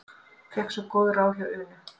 Fékk svo góð ráð hjá Unu.